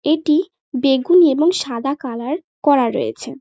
এটি বেগুনি এবং সাদা কালার করা রয়েছে।